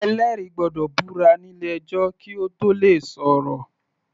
Ẹlẹ́rìí gbọ́dọ̀ búra nílé ẹjọ́ kí Ó tóò le sọ̀rọ̀.